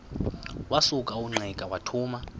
wasuka ungqika wathuma